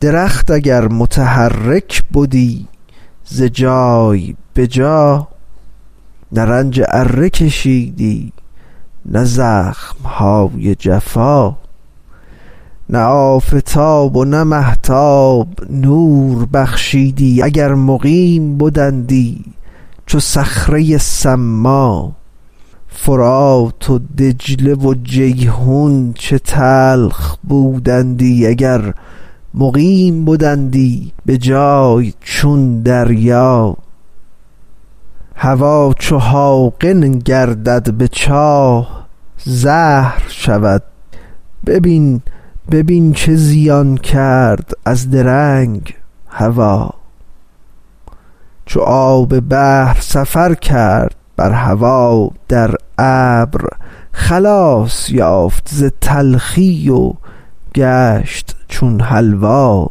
درخت اگر متحرک بدی ز جای به جا نه رنج اره کشیدی نه زخم های جفا نه آفتاب و نه مهتاب نور بخشیدی اگر مقیم بدندی چو صخره صما فرات و دجله و جیحون چه تلخ بودندی اگر مقیم بدندی به جای چون دریا هوا چو حاقن گردد به چاه زهر شود ببین ببین چه زیان کرد از درنگ هوا چو آب بحر سفر کرد بر هوا در ابر خلاص یافت ز تلخی و گشت چون حلوا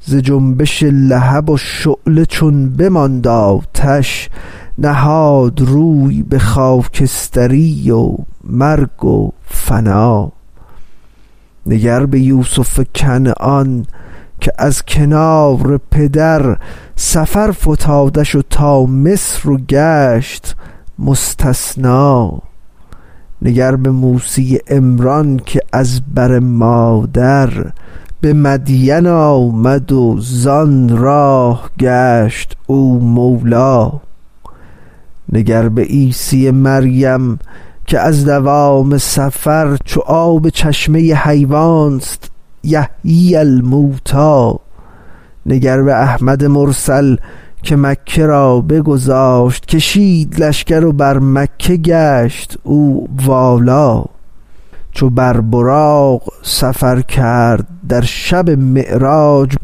ز جنبش لهب و شعله چون بماند آتش نهاد روی به خاکستری و مرگ و فنا نگر به یوسف کنعان که از کنار پدر سفر فتادش تا مصر و گشت مستثنا نگر به موسی عمران که از بر مادر به مدین آمد و زان راه گشت او مولا نگر به عیسی مریم که از دوام سفر چو آب چشمه حیوان ست یحیی الموتی نگر به احمد مرسل که مکه را بگذاشت کشید لشکر و بر مکه گشت او والا چو بر براق سفر کرد در شب معراج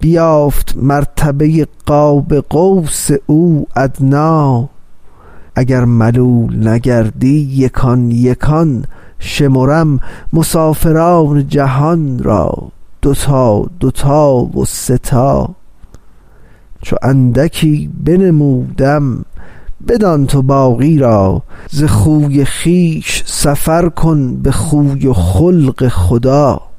بیافت مرتبه قاب قوس او ادنی اگر ملول نگردی یکان یکان شمرم مسافران جهان را دو تا دو تا و سه تا چو اندکی بنمودم بدان تو باقی را ز خوی خویش سفر کن به خوی و خلق خدا